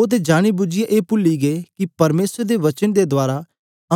ओह ते जान बुझीयै ए पूली गे कि परमेसर दे वचन दे रहें